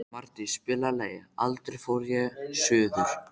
Mardís, spilaðu lagið „Aldrei fór ég suður“.